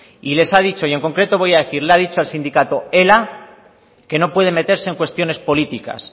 y les ha dicho y en concreto voy a decir le ha dicho al sindicato ela que no puede meterse en cuestiones políticas